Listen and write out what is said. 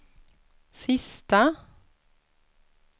sista